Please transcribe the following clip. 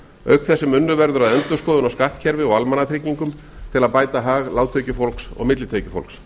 auk þess sem unnið áður að endurskoðun á skattkerfi og almannatryggingum til að bæta hag lágtekjufólks og millitekjufólks